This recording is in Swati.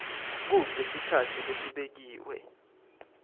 kute sikhatsi lesibekiwe